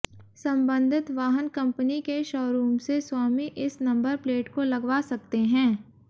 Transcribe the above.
संबंधित वाहन कंपनी के शोरूम से स्वामी इस नंबर प्लेट को लगवा सकते हैं